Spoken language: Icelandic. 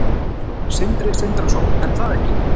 Sindri Sindrason: Er það ekki?